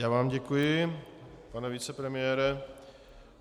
Já vám děkuji, pane vicepremiére.